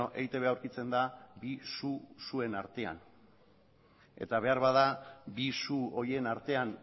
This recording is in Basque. eitb aurkitzen da bi suen artean eta beharbada bi su horien artean